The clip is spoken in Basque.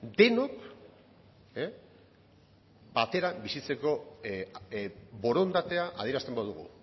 denok batera bizitzeko borondatea adierazten badugu